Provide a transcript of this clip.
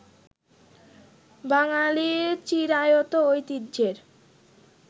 বাঙ্গালির চিরায়ত ঐতিহ্যের